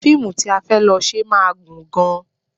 Fíìmù tí a fẹ́ lọ ṣe máa gùn gan-an